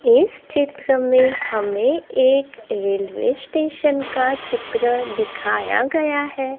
इस चित्र में हमें एक रेलवे स्टेशन का चित्र दिखाया गया है।